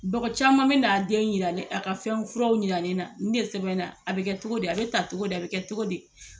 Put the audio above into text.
Dɔgɔ caman ben'a den yira ne a ka fɛnw furaw yira ne na ni de sɛbɛn na a be kɛ togo di a be ta togo di a be kɛ togo di